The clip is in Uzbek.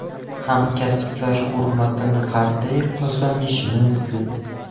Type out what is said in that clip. Hamkasblar hurmatini qanday qozonish mumkin?.